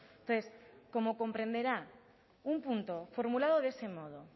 entonces como comprenderá un punto formulado de ese modo